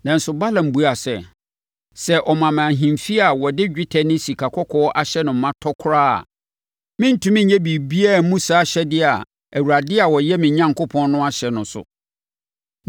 Nanso, Balaam buaa sɛ, “Sɛ ɔma me ahemfie a wɔde dwetɛ ne sikakɔkɔɔ ahyɛ no ma tɔ koraa a, merentumi nyɛ biribiara mmu saa ahyɛdeɛ a Awurade a ɔyɛ me Onyankopɔn no ahyɛ no so.